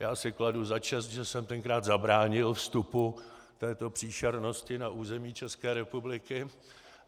Já si kladu za čest, že jsem tenkrát zabránil vstupu této příšernosti na území České republiky.